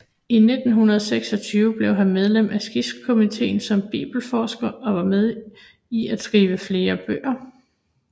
I 1926 blev han medlem af skribentkomiteen som bibelforsker og var med i at skrive flere bøger